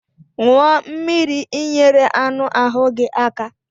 Ṅụọ mmiri ị nyere anụ ahu gị aka.